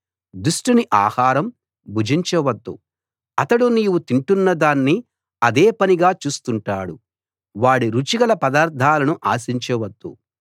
దుష్టుని ఆహారం భుజించ వద్దు అతడు నీవు తింటున్నదాన్ని అదే పనిగా చూస్తుంటాడు వాడి రుచిగల పదార్థాలను ఆశించవద్దు